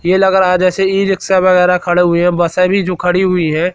ये लग रहा है जैसे ई रिक्शा वगैरह खड़े हुए हैं बसे भी जो खड़ी हुई है।